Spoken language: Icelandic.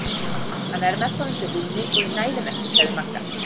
Hann er með þá undir rúmi og ég næ þeim ekki sagði Magga.